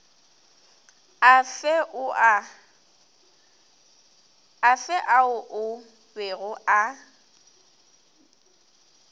afe ao a bego a